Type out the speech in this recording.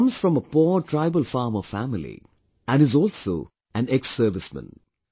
He comes from a poor tribal farmer family, and is also an exserviceman